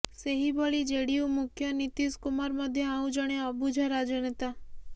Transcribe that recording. ସେହିଭଳି ଜେଡିୟୁ ମୁଖ୍ୟ ନୀତୀଶ କୁମାର ମଧ୍ୟ ଆଉ ଜଣେ ଅବୁଝା ରାଜନେତା